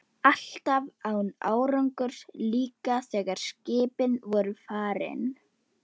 Húbert, hvenær kemur vagn númer þrjátíu og fimm?